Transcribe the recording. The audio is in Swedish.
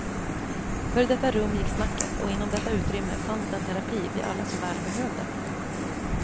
För i detta rum gick snacket och inom detta utrymme fanns den terapi vi alla så väl behövde.